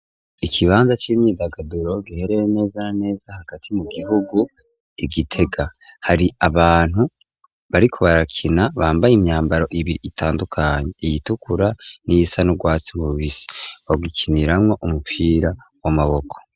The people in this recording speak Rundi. Ikibanza c'imyidagaduro giherereye neza na neza hagati mu gihugu i Gitega, hari abantu bariko barakina bambaye imyambaro ibiri itandukanye, iyitukura n'iyisa n'urwatsi rubisi, bagikiniramwo umupira w'amaboko.